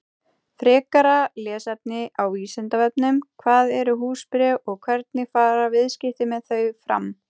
Frekara lesefni á Vísindavefnum: Hvað eru húsbréf og hvernig fara viðskipti með þau fram?